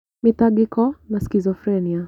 Mĩtangĩko, na schizophrenia.